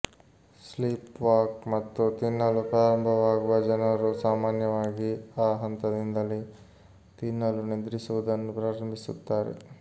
sleepwalk ಮತ್ತು ತಿನ್ನಲು ಪ್ರಾರಂಭವಾಗುವ ಜನರು ಸಾಮಾನ್ಯವಾಗಿ ಆ ಹಂತದಿಂದಲೇ ತಿನ್ನಲು ನಿದ್ರಿಸುವುದನ್ನು ಪ್ರಾರಂಭಿಸುತ್ತಾರೆ